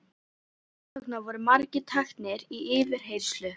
Þess vegna voru margir teknir í yfirheyrslu.